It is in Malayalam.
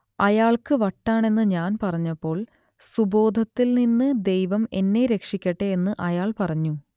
അയാൾക്ക് വട്ടാണെന്ന് ഞാൻ പറഞ്ഞപ്പോൾ സുബോധത്തിൽ നിന്ന് ദൈവം എന്നെ രക്ഷിക്കട്ടെ എന്ന് അയാൾ പറഞ്ഞു